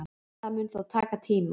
Það mun þó taka tíma